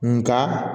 Nka